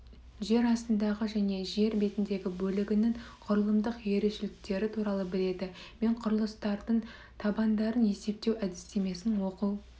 жер астындағы және жер бетіндегі бөлігінің құрылымдық ерекшеліктері туралы біледі мен құрылыстардың табандарын есептеу әдістемесін оқу